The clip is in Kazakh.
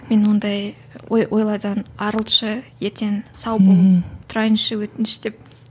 мені ондай ой ойлардан арылтшы ертең сау болып тұрайыншы өтініш деп